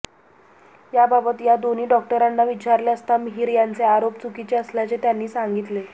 याबाबत या दोन्ही डॉक्टरांना विचारले असता मिहीर यांचे आरोप चुकीचे असल्याचे त्यांनी सांगितले